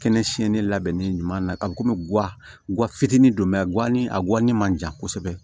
Kɛnɛ siɲɛni labɛnnen ɲuman na ka komi fitinin don guwani a guwani man jan kosɛbɛ